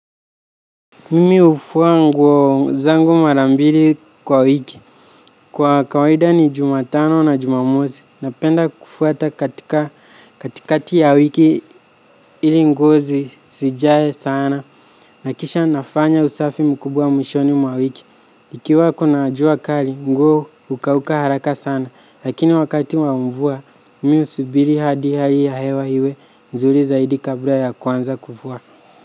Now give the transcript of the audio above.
Mimi hufua nguo zangu mara mbili kwa wiki. Kwa kawaida ni jumatano na jumamosi. Napenda kufua hata katika katikati ya wiki ili nguo zisijae sana. Nakisha nafanya usafi mkubwa mwishoni mwa wiki. Ikiwa kuna jua kali nguo hukauka haraka sana. Lakini wakati wa mvua mi husubiri hadi hali ya hewa iwe nzuri zaidi kabla ya kuanza kufua.